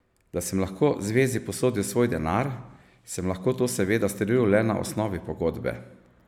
Da sem lahko zvezi posodil svoj denar, sem lahko to seveda storil le na osnovi pogodbe.